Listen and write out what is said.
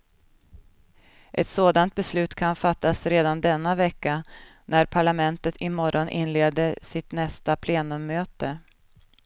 Ett sådant beslut kan fattas redan denna vecka när parlamentet imorgon inleder sitt nästa plenummöte.